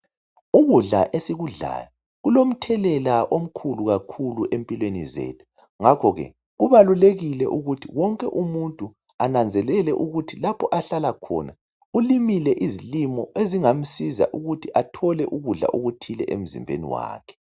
Ukudla esikudlayo kulomthelela omkhulu kakhulu empilweni zethu ngakho ke kubalulekile ukuthi wonke umuntu ananzelele ukuthi lapho ahlala khona ulimile izilimo ezingamsiza ukuthi athole ukudla okuthile emzimbeni wakhe.